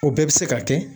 O bɛɛ bɛ se ka kɛ